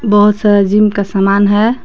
बहुत सारा जिम का सामान है।